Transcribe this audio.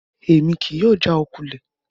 Emi kii yóò jaokulẹ